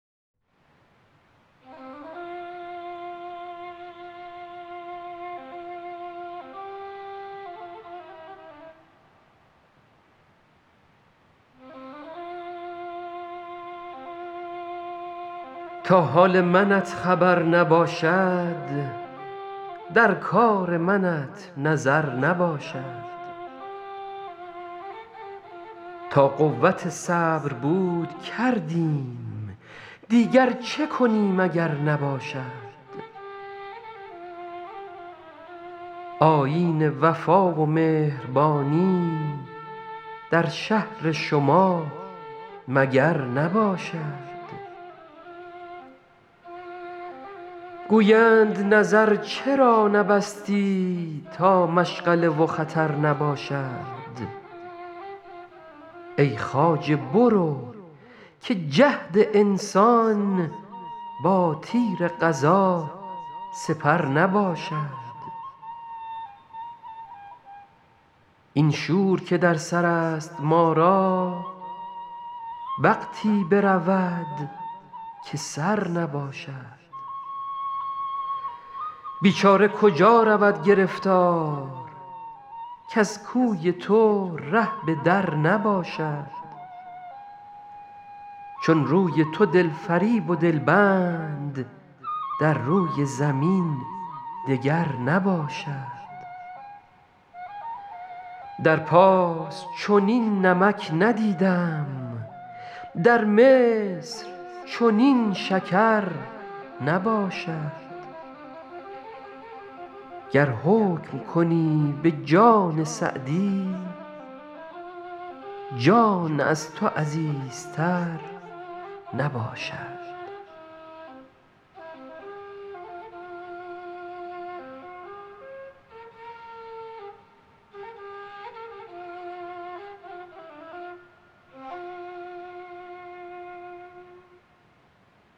تا حال منت خبر نباشد در کار منت نظر نباشد تا قوت صبر بود کردیم دیگر چه کنیم اگر نباشد آیین وفا و مهربانی در شهر شما مگر نباشد گویند نظر چرا نبستی تا مشغله و خطر نباشد ای خواجه برو که جهد انسان با تیر قضا سپر نباشد این شور که در سر است ما را وقتی برود که سر نباشد بیچاره کجا رود گرفتار کز کوی تو ره به در نباشد چون روی تو دل فریب و دل بند در روی زمین دگر نباشد در پارس چنین نمک ندیدم در مصر چنین شکر نباشد گر حکم کنی به جان سعدی جان از تو عزیزتر نباشد